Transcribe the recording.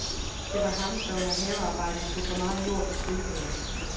Det var ham, der under havearbejde tog for meget jord på trillebøren.